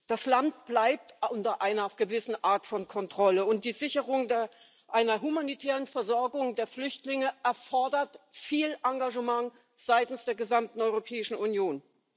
Das Land bleibt unter einer gewissen Art von Kontrolle, und die Sicherung einer humanitären Versorgung der Flüchtlinge erfordert viel Engagement seitens der gesamten Europäischen Union.